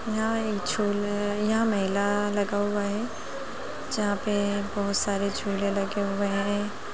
यहाॅं एक झूले यहाॅं मेला लगा हुआ है जहाॅं पे बहोत सारे झूले लगे हुए हैं।